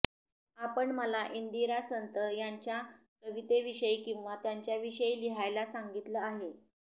आपण मला इंदिरा संत यांच्या कवितेविषयी किंवा त्यांच्याविषयी लिहायला सांगितलं आहे